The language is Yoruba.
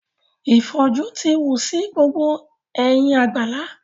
Ìfòjú ti wù sí gbogbo ẹ̀yìn gbàlá.